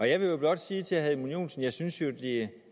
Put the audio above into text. jeg vil jo blot sige til herre edmund joensen at jeg synes at det